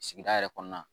Sigida yɛrɛ kɔnɔna